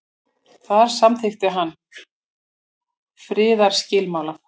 þar samþykkti hann friðarskilmála